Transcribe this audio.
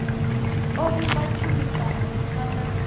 o vhumba tshumisano ntswa na